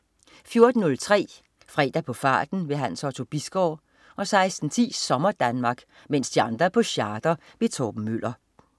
14.03 Fredag på farten. Hans Otto Bisgaard 16.10 SommerDanmark. Mens de andre er på charter. Torben Møller